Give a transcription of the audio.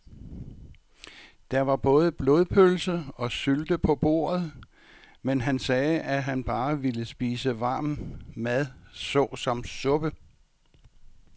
Der var både blodpølse og sylte på bordet, men han sagde, at han bare ville spise varm mad såsom suppe.